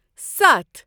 ستَھ